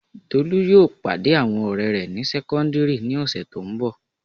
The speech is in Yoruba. Tolú yóò pàdé àwọn ọ̀rẹ́ rẹ̀ ní sẹ́kọ́ndíìrì ní ọ̀sẹ̀ tó n bọ̀